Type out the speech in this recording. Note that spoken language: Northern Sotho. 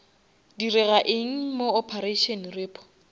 direga eng mo operation repo